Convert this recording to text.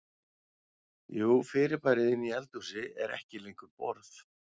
Jú fyrirbærið inni í eldhúsi er ekki lengur borð.